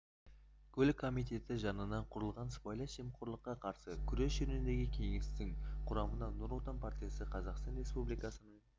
көлік комитеті жанынан құрылған сыбайлас жемқорлыққа қарсы күрес жөніндегі кеңестің құрамына нұр отан партиясы қазақстан республикасының